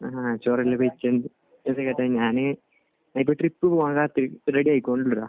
ആഹ്. ഞാൻ ഒരു ട്രിപ്പ് പോകാൻ റെഡി ഇണ്ടല്ലോ